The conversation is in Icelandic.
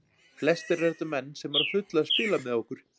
Flestir eru þetta menn sem eru á fullu að spila með okkur.